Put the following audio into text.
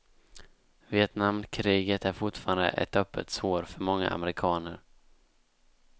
Vietnamkriget är fortfarande ett öppet sår för många amerikaner.